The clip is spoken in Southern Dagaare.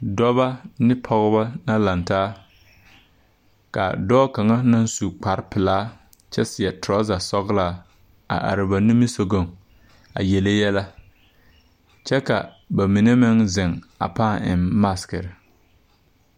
Dɔbɔ ne pɔgeba la lantaa ka dɔɔ kaŋa naŋ su kpare pelaa kyɛ seɛ torasa sɔglaa a are ba nimisɔgɔŋ a yele yɛlɛ kyɛ ka ba mine meŋ zeŋ a pãã maasiki.